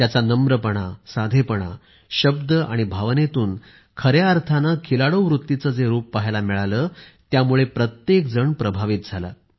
त्यांचा नम्रपणा साधेपणा शब्द आणि भावनेतून खऱ्या अर्थाने खिलाडू वृत्तीचे जे रूप पाहायला मिळाले त्यामुळे प्रत्येकजण प्रभावित झाला